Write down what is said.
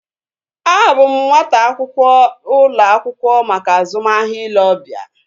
A bụ m nwata akwụkwọ ụlọ akwụkwọ maka azụmahịa ile obia